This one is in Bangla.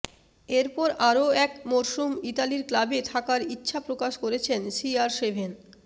এরপর আরও এক মরসুম ইতালির ক্লাবে থাকার ইচ্ছাপ্রকাশ করেছেন সি আর সেভেন